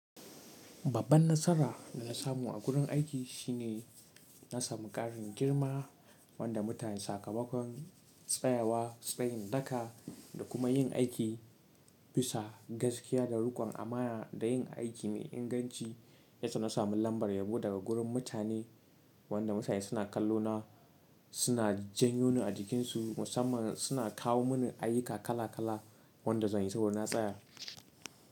Babban nasara da na samu a gurin aiki shine na samu ƙarin girma wanda mutanen sakamakon tsayawa, tsayin daka da kuma yin aiki bisa gaskiya da riƙon amana da yin aiki mai inganci. Yasa na sami lambar yabo daga gurin mutane wanda mutane suna kallo na suna janyo ni a jikinsu musamman suna kawo mini ayyuka kala kala wanda zan yi saboda na tsaya.